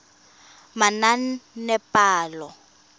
manaanepalo